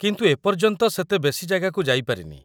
କିନ୍ତୁ ମୁଁ ଏପର୍ଯ୍ୟନ୍ତ ସେତେ ବେଶି ଜାଗାକୁ ଯାଇପାରିନି ।